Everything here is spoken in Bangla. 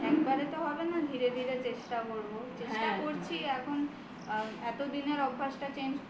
একবারে তো হবে না ধীরে ধীরে চেষ্টা করব চেষ্টা করছি এখন এত দিনের অভ্যাসটা change